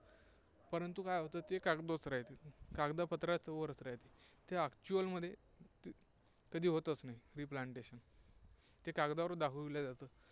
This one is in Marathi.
परंतु काय होतं, ते कागदातच राहते, कागदं पत्राच्या वरच राहते. ते actual मध्ये कधी होतच नाही replantation. ते कागदावरच दाखविल्या जाते.